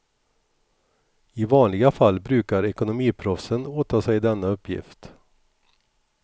I vanliga fall brukar ekonomiproffsen åta sig denna uppgift.